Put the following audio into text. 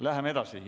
Läheme edasi.